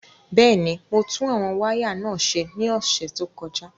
Bẹ́ẹ̀ ni, mo tún àwọn wáyà náà ṣe ní ọ̀sẹ̀ tó kọjá.